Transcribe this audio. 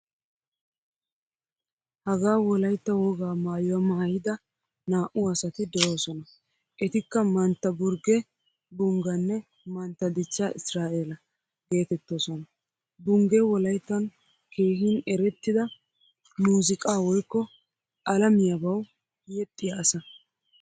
Hagaa wolaytta wogaa maayuwaa maayidaa naa'u asati deosona. Ettika mantta burge bungganne mantta dichcha isiraela geetettosona. Bungge wolayttan keehin erettida muuzziqaa woykko alamiyabawu yeexiya asa.